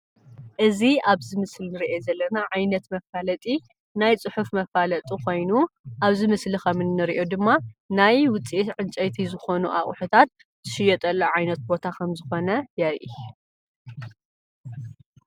እዚ ኣብዚ ምስሊ እንርእዮ ዘለና ዓይነት መፋለጢ ናይ ፅሑፍ መፋለጢ ኮይኑ እዚ ምስሊ ከምንርእዮ ድማ ናይ ውፂኢት ዕንጨይቲ ዝኮኑ ኣቁሑታት ናይ ዝሽየጡ ዘለዉ ዓይነት ቦታ ከም ዝኮነ የርእይ፡፡